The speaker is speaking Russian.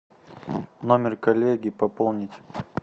номер коллеги пополнить